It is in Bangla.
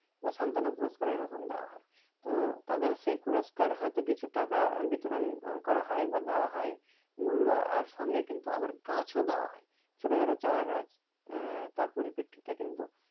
বা সান্তনা পুরষ্কার এইরকম দেওয়া হয় তো তাদের সেই পুরষ্কার হয়তো কিছু টাকা বিতরন করা হয় বা দেওয়া হয় মূল্য আর সঙ্গে কিন্তু আবার গাছ ও দেওয়া হয় ছোট ছোট চারা গাছ আহ তার পরিপ্রেক্ষিতে কিন্তু